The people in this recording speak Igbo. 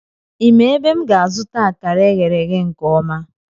Ị ma ebe m ga-azụta akara eghere nke ọma?